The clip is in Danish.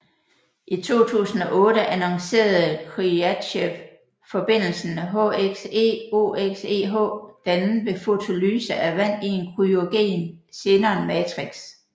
I 2008 annoncerede Khriachtchev forbindelsen HXeOXeH dannet ved fotolyse af vand i en kryogen xenon matrix